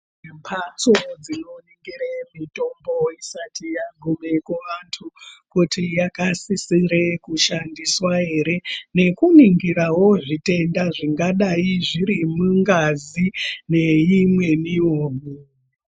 Kune mbatso dzinoningire mitombo isati yagume kuantu kuvantu kuti yakasisre kushandiswa here nekuningira rawo zvitenda zviri mungazi neimweniwo mitungu.